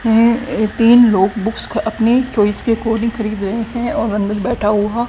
है तीन लोग बुक्स ख अपनी चॉइस के अकॉर्डिंग खरीद रहे हैं और अंदर बैठा हुआ--